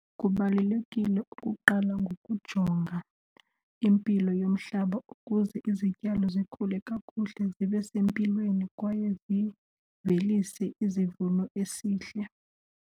Kubalulekile ukuqala ngokujonga impilo yomhlaba ukuze izityalo zikhule kakuhle, zibe sempilweni kwaye zivelise izivuno esihle.